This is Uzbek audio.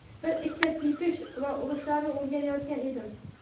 bir - ikkita tepish va urushlarni o‘rganayotgan edim.